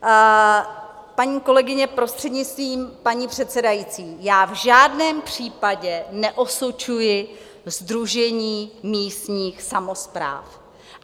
Paní kolegyně, prostřednictvím paní předsedající, já v žádném případě neosočuji Sdružení místních samospráv.